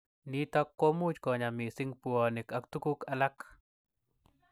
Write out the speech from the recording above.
Nitok komuch konya missing buonik ak tukuk alak.